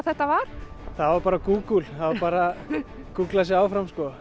þetta var það var bara Google það var bara gúglað sig áfram sko